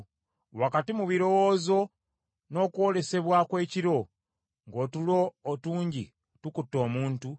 Wakati mu birowoozo n’okwolesebwa kw’ekiro ng’otulo otungi tukutte omuntu,